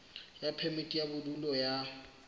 ya phemiti ya bodulo ya